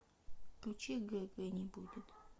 включи гг не будет